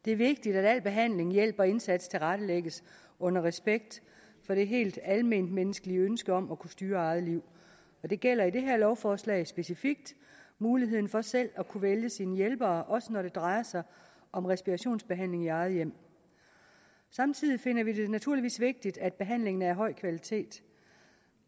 det er vigtigt at al behandling hjælp og indsats tilrettelægges under respekt for det helt almenmenneskelige ønske om at kunne styre eget liv og det gælder i det her lovforslag specifikt muligheden for selv at kunne vælge sine hjælpere også når det drejer sig om respirationsbehandling i eget hjem samtidig finder vi det naturligvis vigtigt at behandlingen er af høj kvalitet